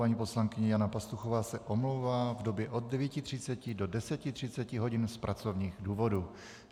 Paní poslankyně Jana Pastuchová se omlouvá v době od 9.30 do 10.30 hodin z pracovních důvodů.